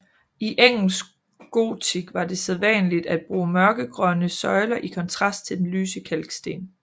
I engelsk gotik var det sædvanligt at bruge mørkegrønne søjler i kontrast til den lyse kalksten